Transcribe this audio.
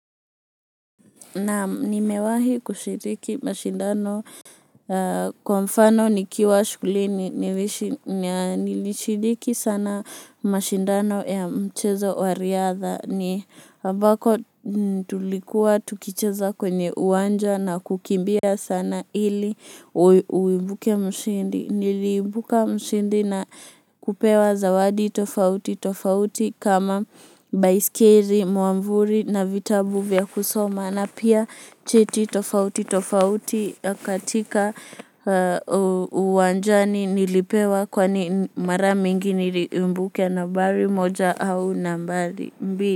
Naam nimewahi kushiriki mashindano kwa mfano nikiwa shughulini nilishiriki sana mashindano ya mchezo wa riadha ni ambako tulikuwa tukicheza kwenye uwanja na kukimbia sana ili uibuke mshindi. Nilibuka mshindi na kupewa zawadi tofauti tofauti kama baiskeli, mwavuli na vitabu vya kusoma na pia cheti tofauti tofauti katika uwanjani nilipewa kwani mara mingi niliibuka nambari moja au nambari mbili.